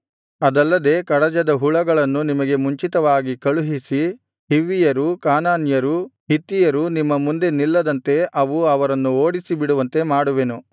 ಅದಲ್ಲದೆ ಕಡಜದ ಹುಳಗಳನ್ನು ನಿಮಗೆ ಮುಂಚಿತವಾಗಿ ಕಳುಹಿಸಿ ಹಿವ್ವಿಯರು ಕಾನಾನ್ಯರು ಹಿತ್ತಿಯರು ನಿಮ್ಮ ಮುಂದೆ ನಿಲ್ಲದಂತೆ ಅವು ಅವರನ್ನು ಓಡಿಸಿಬಿಡುವಂತೆ ಮಾಡುವೆನು